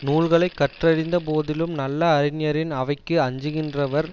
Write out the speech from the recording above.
நூல்களை கற்றிந்த போதிலும் நல்ல அறிஞரின் அவைக்கு அஞ்சுகின்றவர்